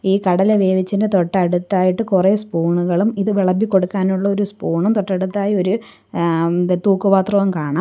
ഈ കടല വേവിച്ചൻ്റെ തൊട്ടടുത്തായിട്ട് കുറെ സ്പൂണുകളും ഇത് വിളമ്പി കൊടുക്കാനുള്ള ഒരു സ്പൂണും തൊട്ടടുത്തായി ഒരു ഏഹ് തൂക്കുപാത്രവും കാണാം.